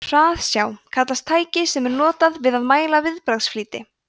hraðsjá kallast tæki sem er notað við að mæla viðbragðsflýti